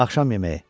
Axşam yeməyi.